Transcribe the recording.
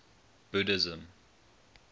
buddhism